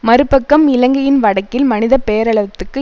மறுபக்கம் இலங்கையின் வடக்கில் மனித பேரலவத்துக்கு